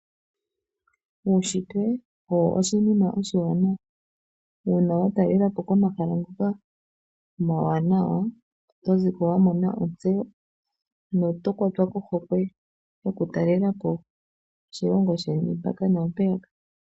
Uunshitwe owo oshinima oshiwanawa, uuna wa talela po komahala ngoka omawanawa, oto zi ko wa mona ontseyo no to kwatwa kohokwe yo ku talela po oshilongo sheni, mpaka na mpeyaka